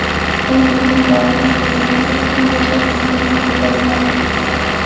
U uyni dorilab, tozalasak ham yashash imkoniyati bo‘lmadi.